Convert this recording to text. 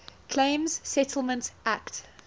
claims settlement act